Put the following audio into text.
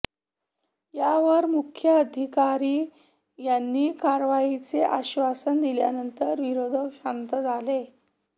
यावर मुख्याधिकारी यांनी कारवाईचे आश्वासन दिल्यानंतर विरोधक शांत झाले